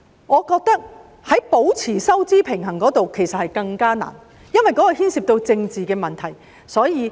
我認為保持收支平衡其實更加困難，因為當中牽涉政治問題。